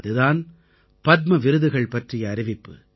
அது தான் பத்ம விருதுகள் பற்றிய அறிவிப்பு